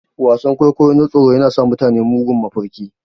Wasan-kwaikwayo na tsoro yana sa mutane mugun mafarki.